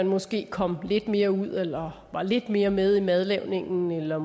måske kom lidt mere ud eller var lidt mere med i madlavningen eller